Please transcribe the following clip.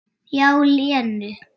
Já, Lenu.